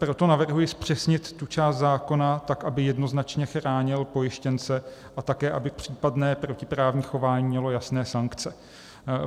Proto navrhuji zpřesnit tu část zákona tak, aby jednoznačně chránil pojištěnce a také aby případné protiprávní chování mělo jasné sankce.